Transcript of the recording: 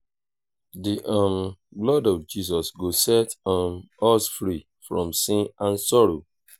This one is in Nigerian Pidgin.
the um blood of jesus go set um us free from sin and sorrow